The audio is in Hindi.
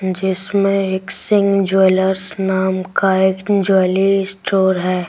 जिसमें एक सिंह ज्वेलर्स नाम का एक ज्वेलरी स्टोर है।